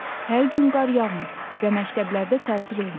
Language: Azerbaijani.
Hər gün qar yağmır və məktəblərdə tətil olmur.